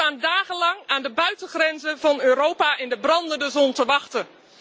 Ze staan dagenlang aan de buitengrenzen van Europa in de brandende zon te wachten.